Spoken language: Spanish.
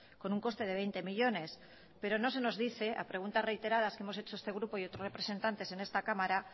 con un coste de veinte millónes pero no se nos dice a preguntas reiteradas que hemos hecho este grupo y otros representantes en esta cámara